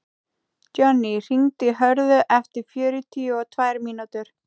Jonni, hringdu í Hörðu eftir fjörutíu og tvær mínútur.